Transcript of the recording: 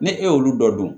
Ni e y'olu dɔ dun